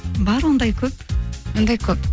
бар ондай көп ондай көп